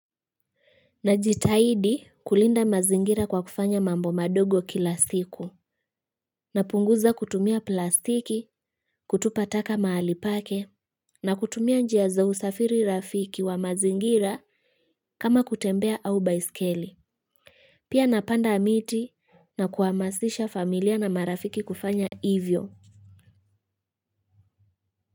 Najitahidi kulinda mazingira kwa kufanya mambo madogo kila siku. Napunguza kutumia plastiki, kutupa taka mahali pake, na kutumia njia za usafiri rafiki wa mazingira kama kutembea au baiskeli. Pia napanda miti na kuhamasisha familia na marafiki kufanya ivyo.